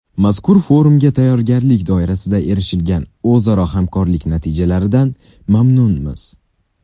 Mazkur forumga tayyorgarlik doirasida erishilgan o‘zaro hamkorlik natijalaridan mamnunmiz.